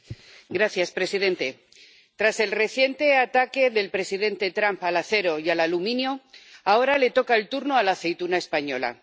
Señor presidente, tras el reciente ataque del presidente Trump al acero y al aluminio, ahora le toca el turno a la aceituna española.